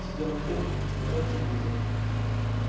сидел на кухне смотрел телевизор